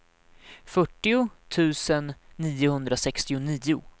fyrtio tusen niohundrasextionio